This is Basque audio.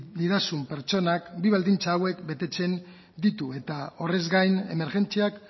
didazun pertsonak bi baldintza hauek betetzen ditu eta horrez gain emergentziak